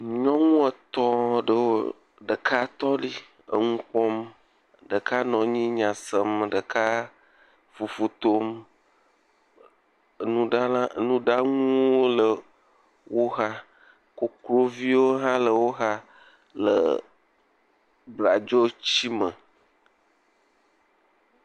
Nyɔŋu etɔ̃ ɖewo, ɖeka tɔ ɖi eŋu kpɔm, ɖeka nɔ nyi nya sem, ɖeka fufu tom, nuɖala nuɖaŋuwo le wo xa, kokloviwo hã le wo xa le bladzoti me.